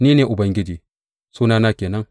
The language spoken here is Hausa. Ni ne Ubangiji; sunana ke nan!